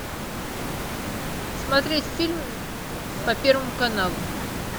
смотреть фильм по первому каналу